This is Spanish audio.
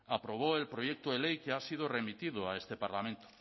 aprobó el proyecto de ley que ha sido remitido a este parlamento